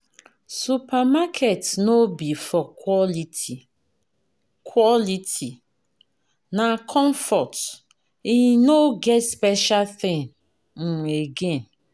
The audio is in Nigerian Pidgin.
supermarket no be for quality, quality, na comfort; e no get special thing um again.